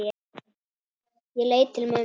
Ég leit til mömmu.